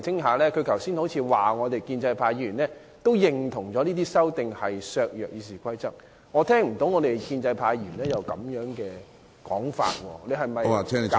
他剛才似乎指建制派議員亦認同有關修訂會削弱《議事規則》的效力，但我卻聽不到有建制派議員提出這說法。